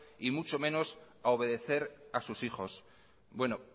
y mucho menos a obedecer a sus hijos bueno